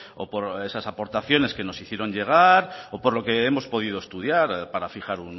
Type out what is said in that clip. o por esas aportaciones que nos hicieron llegar o por lo que hemos podido estudiar para fijar